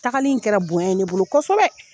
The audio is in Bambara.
Tagali in kɛra bonya ne bolo kosɛbɛ